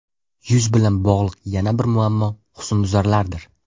Yuz bilan bog‘liq yana bir muammo husnbuzarlardir.